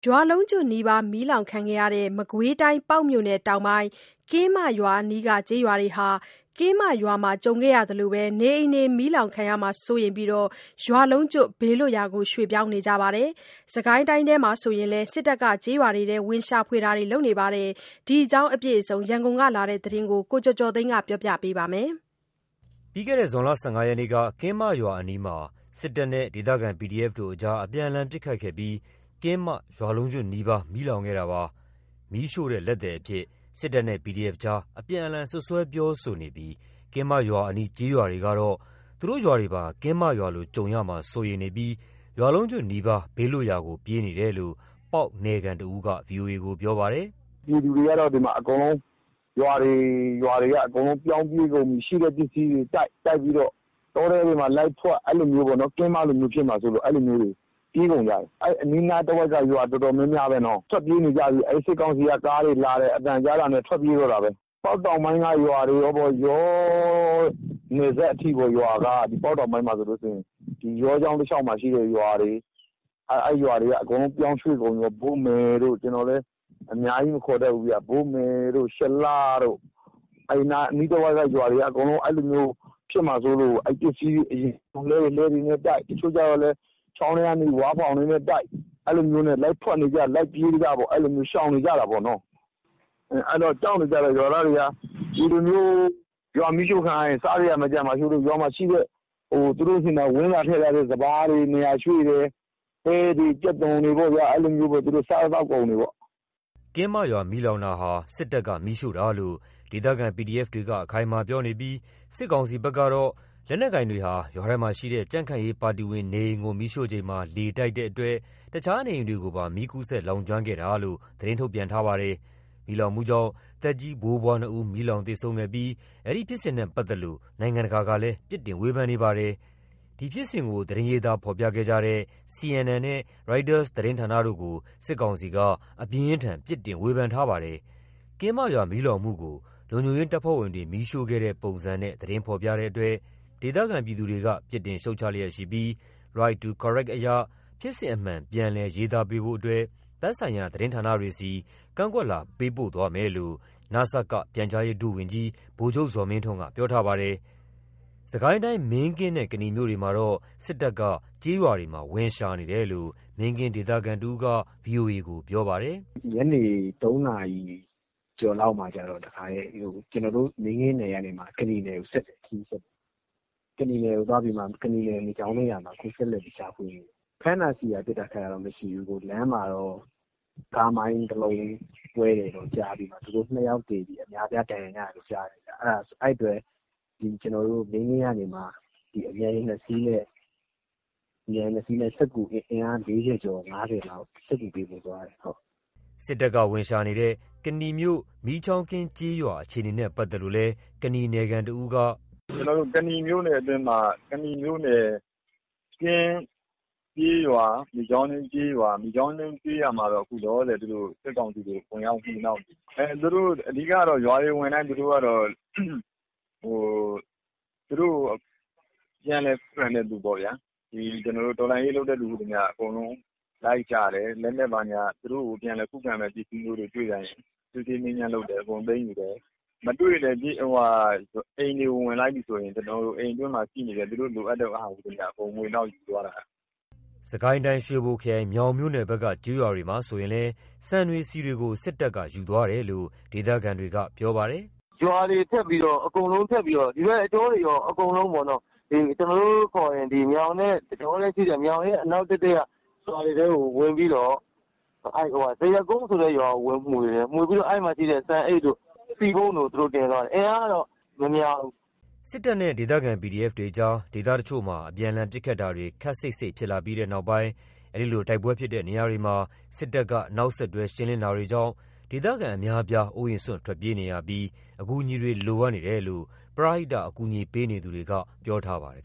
ရွာလုံးကျွတ်နီးပါး မီးလောင်ခဲ့တဲ့ မကွေးတိုင်း ပေါက်မြို့နယ်တောင်ပိုင်း ကင်းမရွာအနီးက ကျေးရွာတွေဟာ ကင်းမရွာကြုံခဲ့ရသလိုပဲ နေအိမ်တွေ မီးလောင်မှာစိုးရိမ်ပြီး ရွာလုံးကျွတ် ဘေးလွတ်ရာတွေကို ရွှေ့ပြောင်းနေပါတယ်။ စစ်ကိုင်းတိုင်းထဲမှာ ဆိုရင်လည်း စစ်တပ်က ကျေးရွာတွေမှာ ဝင်ရှာတာတွေ လုပ်နေပါတယ်။ ဒီအကြောင်းအပြည့်အစုံ ရန်ကုန်ကလာတဲ့သတင်းကို ကိုကျော်ကျော်သိန်းကပြောပြပါမယ်။ ပြီးခဲ့တဲ့ ဇွန်လ ၁၅ ရက်က ကင်းမရွာအနီးမှာ စစ်တပ်နဲ့ ဒေသခံ PDF တို့ကြား အပြန်အလှန် ပစ်ခတ်ခဲ့ပြီး ကင်းမ ရွာလုံးကျွတ်နီးပါး မီးလောင်ခဲ့တာပါ။ မီးရှို့တဲ့လက်သည်အဖြစ် စစ်တပ်နဲ့ PDF ကြား အပြန်အလှန် စွပ်စွဲပြောဆိုနေပြီး ကင်းမရွာအနီး ကျေးရွာတွေကတော့ သူတို့ရွာတွေပါ ကင်းမရွာလို ကြုံရမှာ စိုးရိမ်နေပြီး ရွာလုံးကျွတ်နီးပါး ဘေးလွတ်ရာကို ပြေးနေရတယ်လို့ ပေါက်နယ်ခံတဦးက ပြောပါတယ်။ “ပြည်သူတွေက ရွာတွေ ရွာတွေ အကုန်ပြောင်းပြေးကုန်ပြီ ရှိတဲ့ပစ္စည်းတွေတိုက်၊ တောထဲတွေမှာ လိုက်ဖွက် အဲ့လိုမျိုးပေါ့ ။ ကင်းမလိုဖြစ်မှာဆိုးလို့ ပြေးကုန်ကြတယ်။ အဲ့အနီးနားတဝိုက် ရွာတော်တော်များများပဲ ထွက်ပြေး နေကြပြီး စစ်ကောင်စီ က ကားတွေလာတယ်။ အသံကြားတာနဲ့ ထွက်ပြေးတော့တာပဲ။ ပေါက်တောင်ပိုင်းက ရွာတွေပေါ့ ယောနယ်စပ်အထိ ရွာတွေပေါ့ ။ ပေါက်တောင်ပိုင်းမှာဆိုရင် ယောချောင်းတလျောက်မှာရှိတဲ့ ရွာတွေ အဲ့ရွာတွေက အကုန်ပြောင်းရွှေ့ကုန်ပြီ။ ဘို့မယ်တို့ ကျွန်တော်လည်း အများကြီးမခေါ်တတ်ဘူး။ ဘို့မယ်တို့ ရှလတို့ အဲ့နားအနီးတဝိုက်က ရွာတွေက အဲ့လိုမျိုး ဖြစ်မှာဆိုးလို့ ပစ္စည်းတွေကို အရင် လှည်းတွေနဲ့ တိုက်။တချို့ကျတော့လည်း ချောင်းထဲကနေ ဝါးဖောင်တွေနဲ့တိုက် ။အဲ့လိုမျိုးနဲ့ လိုက်ဖွက်နေကြ လိုက်ပြေးနေကြ ရှောင်နေကြတာပေါ့။ အဲ့တော့ ကြောက်နေကြတယ်။ ရွာသားတွေက ကြောက်နေကြတယ်။ ရွာမီးရှို့ခံရရင် စားစရာမရှိမှာဆိုးလို့ ရွာမှာရှိတဲ့ သူတို့ဆီက စပါးတွေ နေရာရွှေ့တယ်။ ပဲတွေ ကြက်သွန်တွေ အဲ့လို စားသောက်ကုန်တွေပေါ့။” ကင်းမရွာ မီးလောင်တာဟာ စစ်တပ်က မီးရှို့တာလို့ ဒေသခံ PDF တပ်ဖွဲ့တွေက အခိုင်အမာ ပြောနေပြီး စစ်ကောင်စီဘက်ကတော့ လက်နက်ကိုင်တွေဟာ ရွာထဲမှာရှိတဲ့ ကြံ့ခိုင်ရေး ပါတီဝင်နေအိမ်ကို မီးရှို့ချိန်မှာ လေတိုက်တဲ့အတွက် အခြားနေအိမ်တွေကို မီးကူးစက်လောင်ကျွမ်းခဲ့တာလို့ သတင်းထုတ်ပြန်ထားပါတယ်။မီးလောင်မှုကြောင့် သက်ကြီးဖိုးဖွား နှစ်ဦး မီးလောင်သေဆုံးခဲ့ပြီး မီးလောင်မှုဖြစ်စဉ်နဲ့ပတ်သက်လို့ နိုင်ငံတကာကလည်း ပြစ်တင်ဝေဖန်နေပါတယ်။ ဒီဖြစ်စဉ်ကို သတင်းရေးသားဖော်ပြခဲ့တဲ့ CNN နဲ့ ရိုက်တာသတင်းဌာနတို့ကို စစ်ကောင်စီက အပြင်းအထန် ပြစ်တင်ဝေဖန်ထားပါတယ်။ ကင်းမရွာမီးလောင်မှုကို လုံခြုံရေးတပ်ဖွဲ့ဝင်တွေ မီးရှို့ခဲ့တဲ့ပုံစံနဲ့ သတင်းဖော်ပြတဲ့အတွက် ဒေသခံပြည်သူတွေက ပြစ်တင်ရှုတ်ချလျက်ရှိပြီး Right to Correct အရ ဖြစ်စဉ်အမှန် ပြန်လည် ရေးသားပေးဖို့အတွက် သက်ဆိုင်ရာ သတင်းဌာနတွေဆီ ကန့်ကွက်လွှာပေးပို့သွားမယ်လို့ နစက ပြန်ကြားရေး ဒုဝန်ကြီး ဗိုလ်ချုပ်ဇော်မင်းထွန်းက ပြောထားပါတယ်။ စစ်ကိုင်းတိုင်း မင်းကင်းနဲ့ ကနီမြို့တွေမှာတော့ စစ်တပ်က ကျေးရွာတွေမှာ ဝင်ရှာနေပါတယ်လို့ မင်းကင်း ဒေသခံတဦးက ဗွီအိုအေကိုပြောပါတယ်။ “ညနေ ၃ နာရီကျော်လောက်မှာ ကျွန်တော်တို့ မင်းကင်းနယ်ကနေ ကနီနယ်ကိုခရီးဆက်တယ်။ ကနီနယ် မီးချောင်းကင်းရွာမှာ အခုဆက်လက်ပြီး ရှာဖွေနေတယ်။ ဖမ်းတာဆီးတာ ပစ်တာခတ်တာတော့ မရှိဘူး။ လမ်းမှာတော့ ကားမိုင်း တလုံးကွဲတယ် ကြားပြီးတော့ သူတို့ ၂ ယောက်သေပြီး အများအပြား ဒဏ်ရာရတယ် ကြားတယ်။ အဲ့အတွက် ကျွန်တော်တို့ မင်းကင်းကနေမှ အမြန်ယာဉ် ၂ စီးနဲ့ အင်အား ၄၀ ကျော် ၅၀ လောက် စစ်ကူပေးဖို့သွားတယ်။” စစ်တပ်က ဝင်ရှာနေတဲ့ ကနီမြို့ မီးချောင်းကင်း ကျေးရွာအခြေအနေနဲ့ ပတ်သက်လို့လည်း ကနီနယ်ခံ တဦးက - “ကနီမြို့နယ် ကင်းကျေးရွာ မီးချောင်းကင်းကျေးရွာ အခုမီးချောင်းကင်းကျေးရွာမှာတော့ စစ်ကောင်စီ တပ်တွေ ဝင်ရောက်ရှာဖွေနေတယ်။ အဓိက က ရွာတွေဝင်တိုင်းသူတို့က သူတို့ကို ပြန်လည်ခုခံတဲ့သူပေါ့ဗျာ။ တော်လှန်ရေး လုပ်တဲ့သူမှန်သမျှ အကုန်လုံးလိုက်ရှာတယ်။ လက်နက်ဘာညာ သူတို့ကို ပြန်လည်ခုခံမယ့် ပစ္စည်းမျိုးတွေ တွေ့တိုင်း အကုန်သိမ်းပစ်တယ်။ မတွေ့လည်း အိမ်တွေကို ဝင်လိုက်ပြီဆိုရင် သူတို့လိုအပ်တဲ့ဟာ မှန်သမျှ အကုန်မွှေနှောက်ယူသွားတာ။” စစ်ကိုင်းတိုင်း ရွှေဘိုခရိုင် မြောင်မြို့နယ်ဘက်က ကျေးရွာတွေမှာဆိုရင်လည်း ဆန်တွေဆီတွေကို စစ်တပ်က ယူသွားတယ်လို့ ဒေသခံတွေက ပြောပါတယ်။ “ရွာတွေအကုန်ပတ်ပြီးတော့ အကုန်လုံးပေါ့ ကျွန်တော်တို့ အခေါ်မြောင်နဲ့အနောက်တည့်တည့် တကြောက ရွာတွေကို ဝင်ပြီးတော့ ဇရပ်ကွင်းဆိုတဲ့ ရွာကိုဝင်မွှေတယ်။ အဲ့မှာရှိတဲ့ ဆန်အိတ်တို့ ဆီပုံးတို့ သူတို့တင်သွားတယ်။ အင်အားကတော့ မများဘူး။” စစ်နဲ့ ဒေသခံ PDF တွေကြား ဒေသတချို့မှာ အပြန်အလှန် ပစ်ခတ်တာတွေ ခပ်စိပ်စိပ် ဖြစ်လာပြီးတဲ့နောက်ပိုင်း အဲဒီလို တိုက်ပွဲဖြစ်တဲ့နေရာတွေမှာ စစ်တပ်က နောက်ဆက်တွဲ ရှင်းလင်းတာတွေကြောင့် ဒေသခံအများအပြား အိုးအိမ်စွန့်ထွက်ပြေးနေရပြီး အကူအညီတွေ လိုအပ်နေတယ်လို့ ပရဟိတ အကူအညီပေးနေသူတွေက ပြောထားပါတယ်